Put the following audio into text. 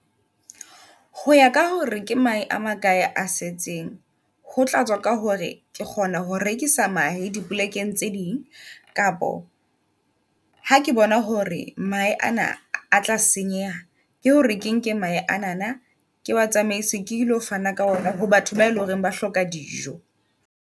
Hoya ka hore ke maje a makae a setseng, ho tlatswa ka hore ke kgona ho rekisa mahe dipolekeng tse ding. Kapa ha ke bona hore mohai ana a tla senyeha, ke hore ke nke mahe anana ke wa tsamaisa ke ilo fana ka ona ho batho bae leng hore ba hloka dijo.